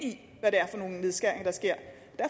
det er for nogle nedskæringer der sker